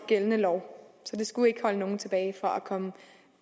gældende lov så det skulle ikke holde nogen tilbage fra at komme